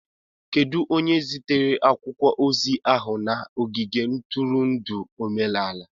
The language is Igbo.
Kedu onye zitere akwụkwọ ozi ahụ na ogige ntụrụndụ omenala?